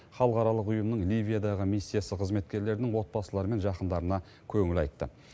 халықаралық ұйымның ливиядағы миссиясы қызметкерлерінің отбасылары мен жақындарына көңіл айтты